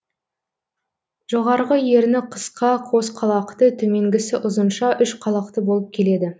жоғарғы ерні қысқа қос қалақты төменгісі ұзынша үш қалақты болып келеді